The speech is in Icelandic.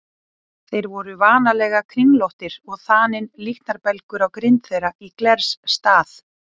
Þeir voru vanalega kringlóttir og þaninn líknarbelgur á grind þeirra í glers stað.